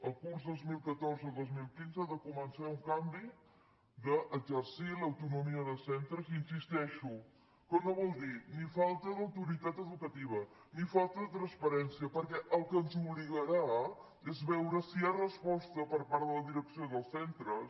al curs dos mil catorze·dos mil quinze ha de començar un canvi d’exer·cir l’autonomia de centres hi insisteixo que no vol dir ni falta d’autoritat educativa ni falta de transpa·rència perquè al que ens obligarà és a veure si hi ha resposta per part de la direcció dels centres